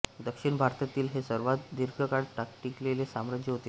दक्षिण भारतातील हे सर्वांत दीर्घकाळ टिकलेले साम्राज्य होते